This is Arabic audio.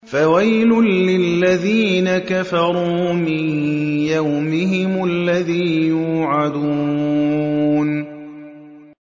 فَوَيْلٌ لِّلَّذِينَ كَفَرُوا مِن يَوْمِهِمُ الَّذِي يُوعَدُونَ